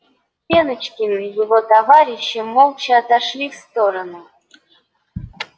пеночкин и его товарищи молча отошли в сторону